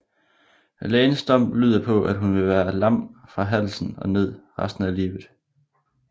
Lægens dom lyder på at hun vil være lam fra halsen og ned resten af livet